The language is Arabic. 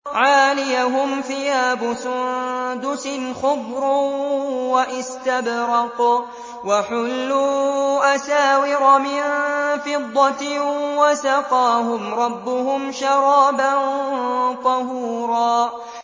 عَالِيَهُمْ ثِيَابُ سُندُسٍ خُضْرٌ وَإِسْتَبْرَقٌ ۖ وَحُلُّوا أَسَاوِرَ مِن فِضَّةٍ وَسَقَاهُمْ رَبُّهُمْ شَرَابًا طَهُورًا